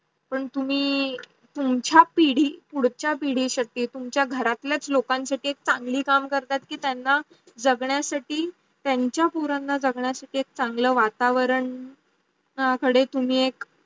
पण तुम्ही तुमच्या पिढी पुढचा पिढीचे साठी तुमच्या घरातलं लोकन साठी एक चांगली काम करता. की त्यानं जगण्या साठी त्यांच त्यांचे पोरांना जगण्या साठी एक चांगल वातावरण कडे तुम्ही एक